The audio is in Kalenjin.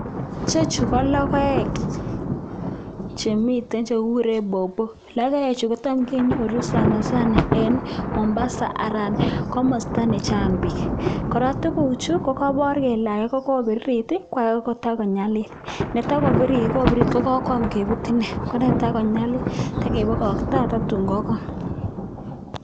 Ichechu ko logoek che mitei che kikure baobab, logoechu tam kenyoru sanasana eng Mombasa anan kamasta nechang beek. Kora tuguchu kokaipor kole ake kokapirirt ko ake kotakonyalil, ne toko pirir koparu kole kokoyam keput ine, ko netoko nyalil tekepakaktoi akoi tuun kokony.